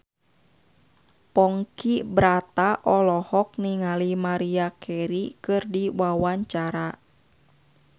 Ponky Brata olohok ningali Maria Carey keur diwawancara